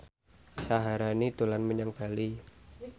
Syaharani dolan menyang Bali